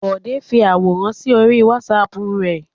Bọ̀dé fi àwòrán sí orí WhatsApp rẹ̀.